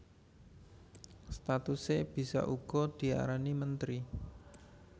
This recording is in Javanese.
Statuse bisa uga diarani menteri